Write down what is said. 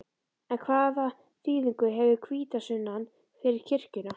En hvaða þýðingu hefur hvítasunnan fyrir kirkjuna?